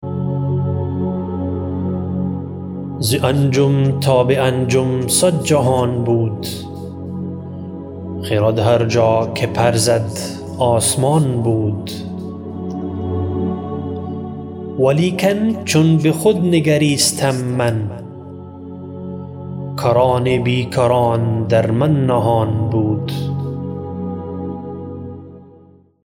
ز انجم تا به انجم صد جهان بود خرد هر جا که پر زد آسمان بود ولیکن چون بخود نگریستم من کران بیکران در من نهان بود